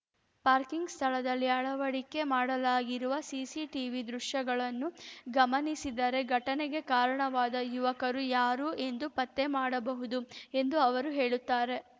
parking ಸ್ಥಳದಲ್ಲಿ ಅಳವಡಿಕೆ ಮಾಡಲಾಗಿರುವ ಸಿಸಿಟಿವಿ ದೃಶ್ಯಗಳನ್ನು ಗಮನಿಸಿದರೆ ಘಟನೆಗೆ ಕಾರಣವಾದ ಯುವಕರು ಯಾರು ಎಂದು ಪತ್ತೆ ಮಾಡಬಹುದು ಎಂದು ಅವರು ಹೇಳುತ್ತಾರೆ